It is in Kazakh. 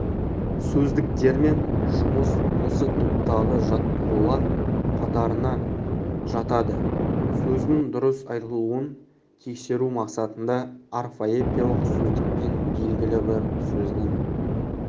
сөздіктермен жұмыс осы топтағы жаттығулар қатарына жатадысөздің дұрыс айтылуын тексеру мақсатында орфоэпиялық сөздікпен белгілі бір сөздің